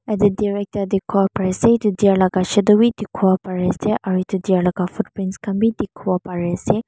yati deer ekta tekibo pare ase eto deer laga shadow beh tekibo pare ase aro eto deer laga footprints kanbeh tekibo pare ase.